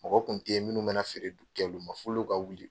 Mɔgɔ kun tɛ ye minnu bɛ na feere kɛ olu ma f'olu ka wuli.